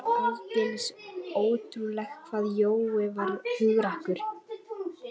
Það var aldeilis ótrúlegt hvað Jói var hugrakkur.